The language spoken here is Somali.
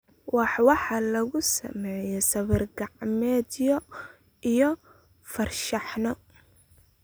Wax waxaa lagu sameeyaa sawir-gacmeedyo iyo farshaxanno.